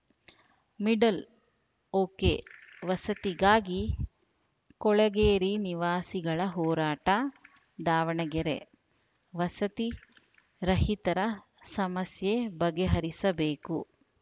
middle ಒಕೆವಸತಿಗಾಗಿ ಕೊಳೆಗೇರಿ ನಿವಾಸಿಗಳ ಹೋರಾಟ ದಾವಣಗೆರೆ ವಸತಿ ರಹಿತರ ಸಮಸ್ಯೆ ಬಗೆಹರಿಸಬೇಕು